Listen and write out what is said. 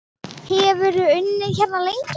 Hefurðu unnið hérna lengi?